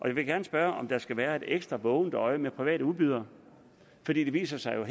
jeg vil gerne spørge om der skal være et ekstra vågent øje med private udbydere for det viser sig jo